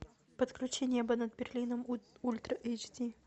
подключи небо над берлином ультра эйч ди